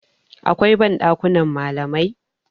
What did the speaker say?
akwai ban dakunan malamai